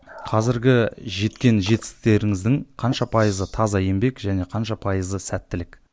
қазіргі жеткен жетістіктеріңіздің қанша пайызы таза еңбек және қанша пайызы сәттілік